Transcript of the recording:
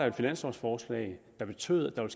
et finanslovforslag der betød at der